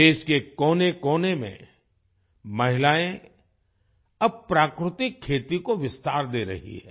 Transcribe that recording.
देश के कोनेकोने में महिलायें अब प्राकृतिक खेती को विस्तार दे रही हैं